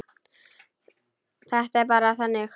Þetta er bara þannig.